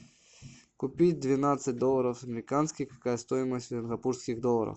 купить двенадцать долларов американских какая стоимость сингапурских долларов